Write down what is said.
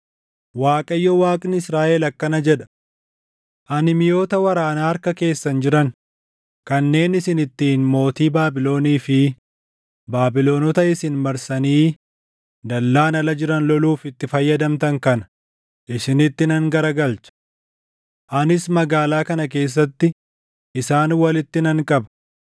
‘ Waaqayyo Waaqni Israaʼel akkana jedha: Ani miʼoota waraanaa harka keessan jiran, kanneen isin ittiin mootii Baabilonii fi Baabilonota isin marsanii dallaan ala jiran loluuf itti fayyadamtan kana isinitti nan garagalcha. Anis magaalaa kana keessatti isaan walitti nan qaba.